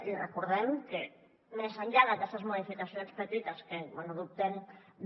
i recordem que més enllà d’aquestes modificacions petites que bé dubtem de